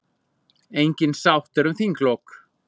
Engin sátt er um þinglok.